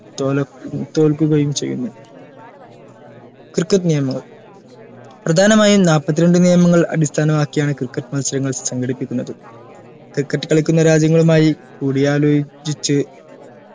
തോല തോൽക്കുകയും ചെയ്യുന്നു cricket നിയമങ്ങൾ പ്രധാനമായും നാല്പത്രണ്ട് നിയമൾ അടിസ്ഥാനമാക്കിയാണ് cricket മത്സരങ്ങൾ സങ്കടിപ്പിക്കുന്നതു cricket കളിക്കുന്ന രാജ്യങ്ങളുമായി കൂടി ആലോജിച്